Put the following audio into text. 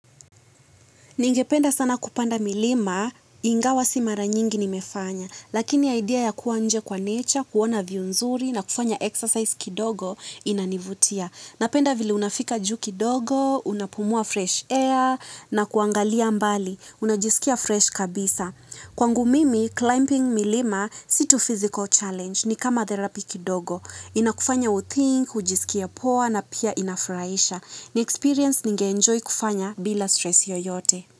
Ningependa sana kupanda milima, ingawa si mara nyingi nimefanya, lakini idea ya kuwa nje kwa nature, kuona view nzuri na kufanya exercise kidogo inanivutia. Napenda vile unafika juu kidogo, unapumua fresh air na kuangalia mbali, unajisikia fresh kabisa. Kwangu mimi, climbing milima si tu physical challenge ni kama therapy kidogo. Inakufanya uthink, ujisikie poa na pia inafurahisha. Ni experience ningeenjoy kufanya bila stress yoyote.